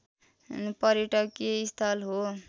पर्यटकीय स्थल हो